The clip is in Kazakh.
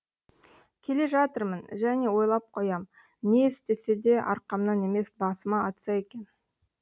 келе жатырмын және ойлап қоям не істесе де арқамнан емес басыма атса екен